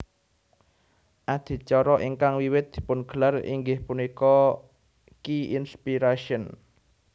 Adicara ingkang wiwit dipungelar inggih punika Q Inspiration